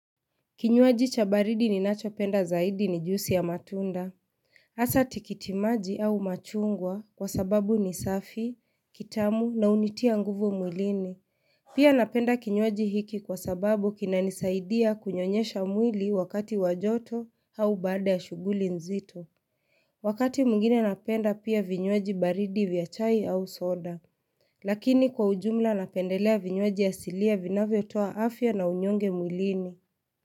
Kinywaji cha baridi ninachopenda zaidi ni juisi ya matunda. Asa tikitimaji au machungwa kwa sababu ni safi, kitamu na unitia nguvu mwilini. Pia napenda kinywaji hiki kwa sababu kina nisaidia kunyonyesha mwili wakati wajoto au baada ya shughuli nzito. Wakati mwingine napenda pia vinywaji baridi vya chai au soda. Lakini kwa ujumla napendelea vinywaji asilia vinavyo toa afya na unyonge mwilini.